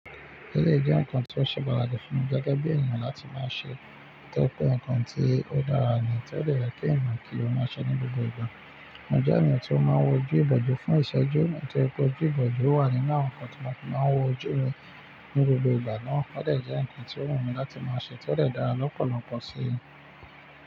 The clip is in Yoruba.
Eleyii, jẹ́ ǹkan tó ṣe pataki fún mi gẹ́gẹ́ bí ènìyàn láti máa ṣe, tó je pé ǹkan tí ó dára ni, tó dẹ̀ yẹ ki ènìyàn kí ó máa ṣe ní gbogbo ìgbà. Mo jẹ́ ènìyàn tó máa ń wojú ìbòjú fún ìṣẹ́jú, nitoripe ojú ìbòjú wà nínú àwọn ǹkan tí mo fi máa ń wo ojú mi ní gbogbo ìgbà náà. Ó dẹ̀ jẹ́ ǹkan tí ó wù mí láti máa ṣe, tó dẹ̀ dára lọ́pọ̀lọpọ̀ sí mi.